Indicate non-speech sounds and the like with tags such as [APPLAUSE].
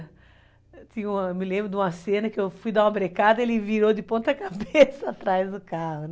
Eu me lembro de uma cena em que eu fui dar uma brecada e ele virou de [LAUGHS] ponta cabeça atrás do carro.